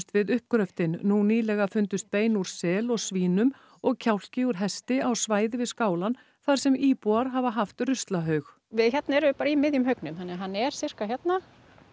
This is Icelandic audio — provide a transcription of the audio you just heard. við uppgröftinn nú nýlega fundust bein úr sel og svínum og kjálki úr hesti á svæði við skálann þar sem íbúar hafa haft ruslahaug hérna erum við bara í miðjum haugnum þannig að hann er sirka hérna